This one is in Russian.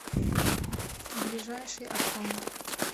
ближайший октант